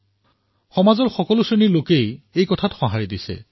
এই বিচাৰধাৰাক লৈ সমাজৰ সকলো শ্ৰেণী উৎসাহিত হৈ আছে